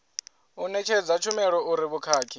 u ṋetshedza tshumelo uri vhukhakhi